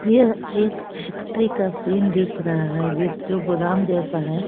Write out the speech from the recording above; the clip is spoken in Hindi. यह एक फैक्ट्री का सीन दिख रहा है जिस जो गोदाम जैसा है।